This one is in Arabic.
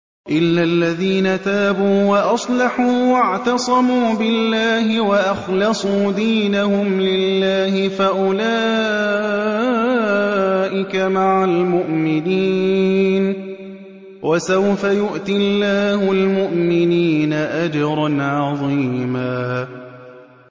إِلَّا الَّذِينَ تَابُوا وَأَصْلَحُوا وَاعْتَصَمُوا بِاللَّهِ وَأَخْلَصُوا دِينَهُمْ لِلَّهِ فَأُولَٰئِكَ مَعَ الْمُؤْمِنِينَ ۖ وَسَوْفَ يُؤْتِ اللَّهُ الْمُؤْمِنِينَ أَجْرًا عَظِيمًا